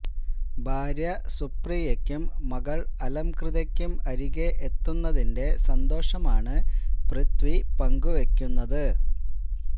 ഭാര്യ സുപ്രിയക്കും മകള് അലംകൃതയ്ക്കും അരികെ എത്തുന്നതിന്റെ സന്തോഷമാണ് പൃഥ്വി പങ്കുവെക്കുന്നത്